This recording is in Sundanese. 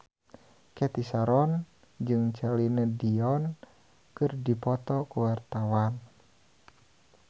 Cathy Sharon jeung Celine Dion keur dipoto ku wartawan